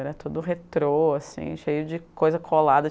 Era todo retrô assim, cheio de coisa colada.